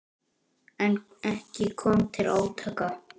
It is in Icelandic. En ekki kom til átaka.